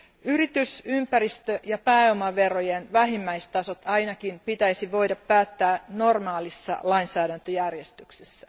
Yritys ympäristö ja pääomaverojen vähimmäistasot ainakin pitäisi voida päättää normaalissa lainsäädäntöjärjestyksessä.